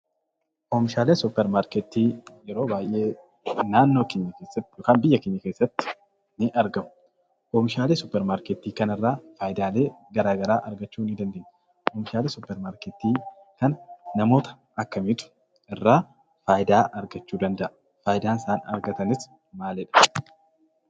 Oomishaaleen suuparmaarketii yeroo baay'ee naannoo keenya keessatti yookaan biyya keenya keessatti ni argamu. Oomishaalee suuparmaarketii kanarraa faayidaalee garaa garaa argachuu ni dandeenya. Oomishaalee suuparmaarketii kana namoota akkamiitu irraa faayidaa argachuu danda'a? Faayidaa isaan argatanis maalidha?